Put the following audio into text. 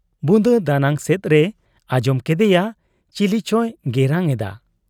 ᱵᱩᱫᱟᱹ ᱫᱟᱱᱟᱝ ᱥᱮᱫ ᱨᱮᱭ ᱟᱸᱡᱚᱢ ᱠᱮᱫᱮᱭᱟ ᱪᱤᱞᱤᱪᱚᱭ ᱜᱮᱨᱟᱝ ᱮᱫᱟ ᱾